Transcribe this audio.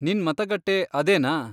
ನಿನ್ ಮತಗಟ್ಟೆ ಅದೇನಾ?